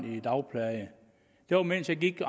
i dagpleje det var mens jeg gik og